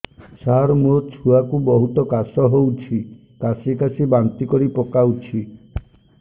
ସାର ମୋ ଛୁଆ କୁ ବହୁତ କାଶ ହଉଛି କାସି କାସି ବାନ୍ତି କରି ପକାଉଛି